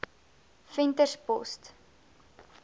venterspost